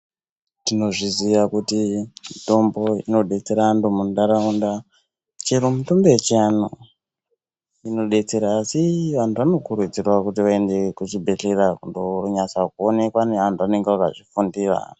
Tinozviziya kuti mitombo inbetsera antu munharaunda chero mitombo yechianhu inobetsera. Asi antu anokurudzirwa kuti vaende kuzvibhedhlera kundo nyatsooneka neantu anenge akazvifundira.